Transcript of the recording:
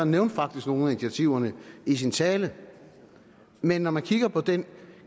nævnte faktisk nogle af initiativerne i sin tale men når man kigger på den